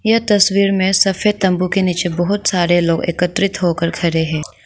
इस तस्वीर में सफेद तंबू के नीचे बहुत सारे लोग एकत्रित होकर खड़े हैं।